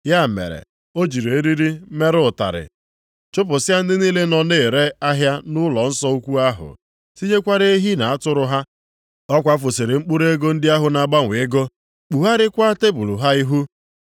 Ya mere, o jiri eriri mere ụtarị chụpụsịa ndị niile nọ na-ere ahịa nʼụlọnsọ ukwu ahụ, tinyekwara ehi na atụrụ ha. Ọ kwafusịrị mkpụrụ ego ndị ahụ na-agbanwe ego, kpugharịakwa tebul ha ihu.